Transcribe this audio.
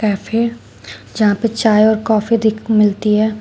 Cafe जहां पर चाय और काफी दी मिलती है।